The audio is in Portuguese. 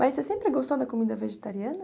Mas você sempre gostou da comida vegetariana?